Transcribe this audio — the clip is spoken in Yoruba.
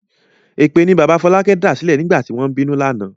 Èpè ni bàbá Fọlákẹ́ dàsílẹ̀ nígbà tí wọ́n ń bínú lánàá.